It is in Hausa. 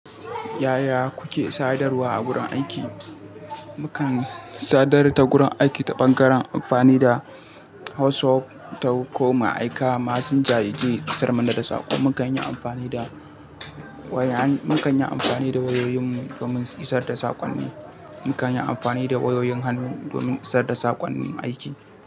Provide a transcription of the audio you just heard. Yaya kuke sadarwa a gurin aiki? Mukan sadar da gurin aiki ta ɓangaren amfani da WhatsApp ko mu aika Massanja yaje isar mana da saƙon mu. Mukan yi amfani da waya, mukan yi amfani da wayoyin mu domin isar da saƙon mu. Mukan yi amfani da wayoyin hannu domin isar da saƙon aiki.